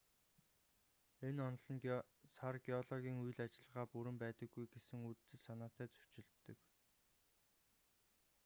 энэ онол нь сар геологийн үйл ажиллагаа бүрэн байдаггүй гэсэн үзэл санаатай зөрчилддөг